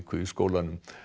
í skólanum